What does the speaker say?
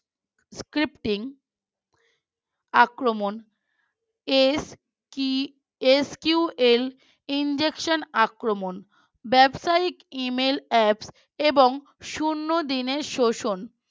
আক্রমণ SKSQL Injection আক্রমণ ব্যবসায়িক Email act এবং শূন্য দিনের শোষণ